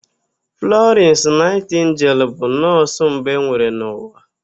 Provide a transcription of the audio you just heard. Flọrịnsị Naịtịngel bụ nọọsụ mbụ enwere n'ụwa.